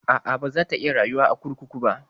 A'a, baza ta iya rayuwa a kurkuku ba.